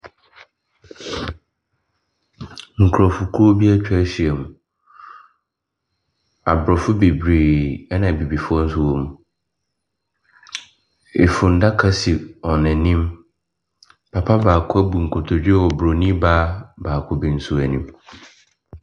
Nkurɔfokuo bi atwa ahyia mu. Aborɔfo bebree, ɛna Abibifoɔ nso wɔ mu, funnaka si wɔn anim. Papa baako abu nkotodwe wɔ Bronin baa baako bi nso anim.